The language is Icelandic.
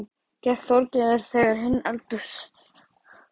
Gekk Þorgerður þegar inn í eldahús.